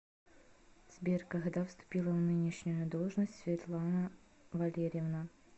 сбер когда вступила в нынешнюю должность светлана валерьевна